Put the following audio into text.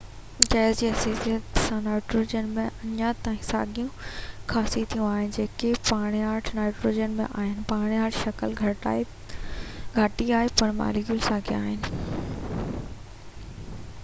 gas جي حيثيت سان نائيٽروجن ۾ اڃا تائين ساڳيون خاصيتون آهن جيڪي پاڻياٺ نائٽروجن ۾ آهن پاڻياٺ شڪل گھاٽي آهي پر ماليڪول ساڳيان آهن